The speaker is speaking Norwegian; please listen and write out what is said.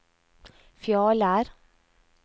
Fjaler